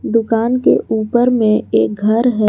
दुकान के ऊपर में एक घर है।